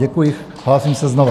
Děkuji, hlásím se znovu.